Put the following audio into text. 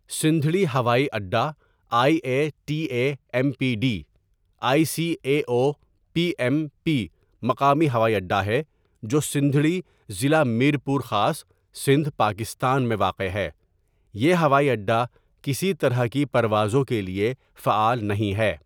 سندھڑی ہوائی اڈا I A T A M P D, I C A O O P M P مقامی ہوائی اڈا ہے جو سندھڑی، ضلع میرپور خاص، سندھ، پاکستان میں واقع ہے یہ ہوائی اڈا کسی طرح کی پروازوں کے لیے فعال نہیں ہے.